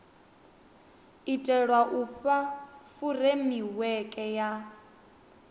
itelwa u fha furemiweke ya